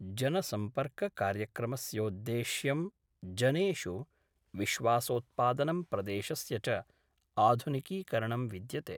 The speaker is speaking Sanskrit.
जनसम्पर्ककार्यक्रमस्योद्देश्यं जनेषु विश्वासोत्पादनं प्रदेशस्य च आधुनिकीकरणं विद्यते।